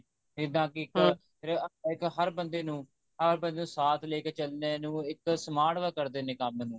ਜਿੱਦਾਂ ਕਿ America ਇੱਕ ਹਰ ਬੰਦੇ ਨੂੰ ਹਰ ਬੰਦੇ ਨੂੰ ਸਾਥ ਲੇਕੇ ਚਲਨੇ ਨੂੰ ਇੱਕ smart work ਕਰਦੇ ਨੇ ਕੰਮ ਨੂੰ